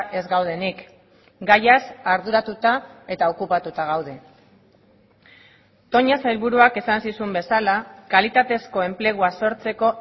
ez gaudenik gaiaz arduratuta eta okupatuta gaude toña sailburuak esan zizun bezala kalitatezko enplegua sortzeko